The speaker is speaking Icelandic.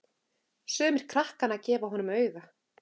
Sumir krakkanna gefa honum auga.